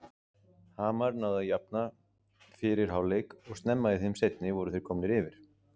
Hamar náði að jafna fyrir hálfleik og snemma í þeim seinni voru þeir komnir yfir.